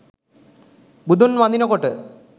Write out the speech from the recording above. බුදුන් වඳිනකොට